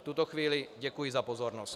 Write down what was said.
V tuto chvíli děkuji za pozornost.